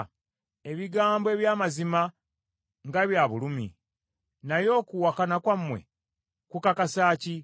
Ebigambo eby’amazima nga bya bulumi! Naye okuwakana kwammwe kukakasa ki?